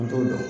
An t'o dɔn